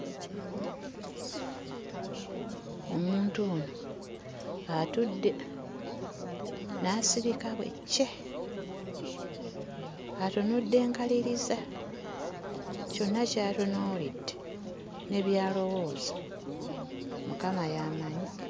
Omuntu ono atudde n'asirika bwe ccee, atunudde nkaliriza kyonna ky'atunuulidde, ne by'alowooza Mukama y'amanyi.